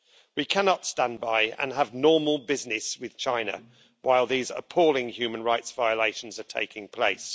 We cannot stand by and have normal business with China while these appalling human rights violations are taking place.